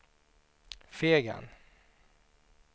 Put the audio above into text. Fegen